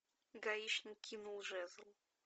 гаишник кинул жезл